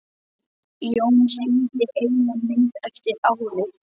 Jón sýndi eina mynd eftir árið.